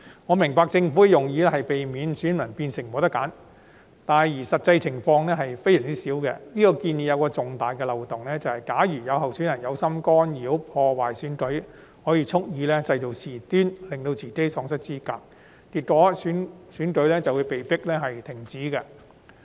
我明白政府的用意是避免選民變成沒有選擇，但實際情況極少出現，這個建議有重大漏洞，便是假如有候選人有心干擾或破壞選舉，便可以蓄意製造事端，令自己喪失資格，結果選舉會被迫終止。